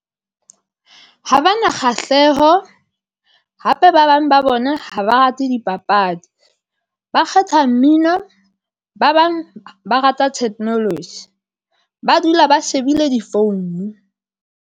Ha ba na kgahleho hape, ba bang ba bona ha ba rate dipapadi, ba kgetha mmino, ba bang ba rata technology, ba dula ba shebile difounu.